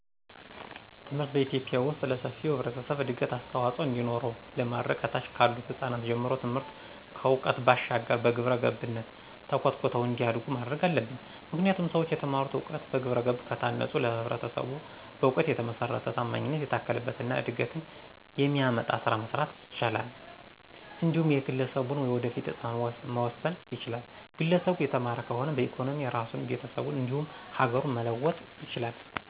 ትምህርትን በኢትዮጲያ ዉስጥ ለሰፊው ህብረተሰብ እድገት አስተዋፅዖ እንዲኖረው ለማድረግ ከታች ካሉት ህጻናት ጀምሮ ትምህርትን ከዕውቀት ባሻገር በግብረገብነት ተኮትኩተው እንዲያዱ ማድረግ አለብን። ምክንያቱም ሠዎች የተማሩትን እውቀት በግብረገብ ከታነፀ ለማህበረሰቡ በእውቀት የተመሰረተ፣ ታማኝነት የታከለበት እና እድገትን የሚያመጣ ስራ መስራት ይችላል። እንዲሁም የግለሠቡን የወደፊት እጣም መወሰን ይችላል፤ ግለሰቡ የተማረ ከሆነ በኢኮኖሚ ራሱን፣ ቤተሰቡን እንዲሁም ሀገሩን መለወጥ ይችላል።